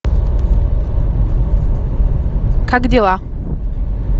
как дела